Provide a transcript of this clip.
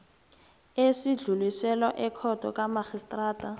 esidluliselwa ekhotho kamarhistrada